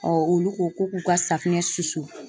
olu ko ko k'u ka safinɛ susu